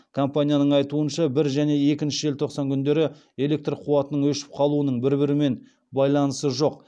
компанияның айтуынша бір және екінші желтоқсан күндері электр қуатының өшіп қалуының бір бірімен байланысы жоқ